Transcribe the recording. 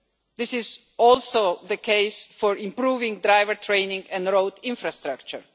This is also the case for improving driver training and road infrastructure.